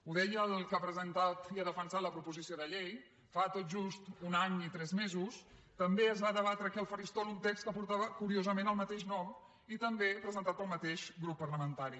ho deia el que ha presentat i ha defensat la proposició de llei fa tot just un any i tres mesos també es va debatre aquí al faristol un text que portava curiosament el mateix nom i també presentat pel mateix grup parlamentari